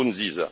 Nkurunziza